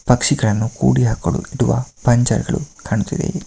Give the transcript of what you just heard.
ಪಕ್ಷಿಗಳನ್ನು ಕೂಡಿ ಹಾಕಲು ಇಡುವ ಪಂಜರಗಳು ಕಾಣುತ್ತಿದೆ ಇಲ್ಲಿ .